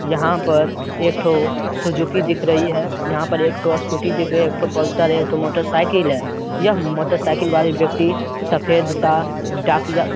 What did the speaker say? यहाँ पर एक ठो सुजुकी दिख रही है। यहाँ पर एक ठो स्कूटी दिख रही यहां एक ठो प्लसर है एक ठो मोटरसाइकिल दिख रही है। यह मोटरसाइकिल वाली व्यक्ति सफेद सा डाकिया--